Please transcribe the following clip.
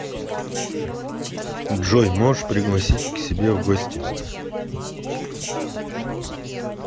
джой можешь пригласишь к себе в гости